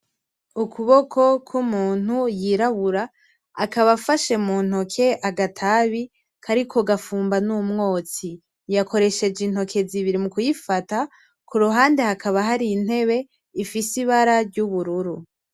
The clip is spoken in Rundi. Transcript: Ukuboko kw'umuntu yirabura. Akaba afashe muntoke agatabi kariko gafumba n'umwotsi. Yakoresheje intoke zibiri mu kuyifata. Ku ruhande hakaba hari intebe ifise ibara ry'ubururu.